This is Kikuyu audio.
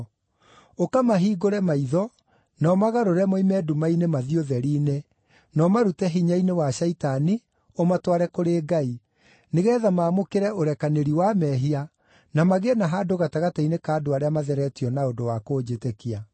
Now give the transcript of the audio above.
ũkamahingũre maitho, na ũmagarũre moime nduma-inĩ mathiĩ ũtheri-inĩ, na ũmarute hinya-inĩ wa Shaitani ũmatware kũrĩ Ngai, nĩgeetha maamũkĩre ũrekanĩri wa mehia, na magĩe na handũ gatagatĩ-inĩ ka andũ arĩa matheretio na ũndũ wa kũnjĩtĩkia.’